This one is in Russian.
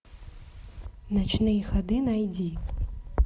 ночные ходы найди